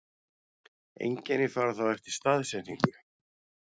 Einkenni fara þá eftir staðsetningu.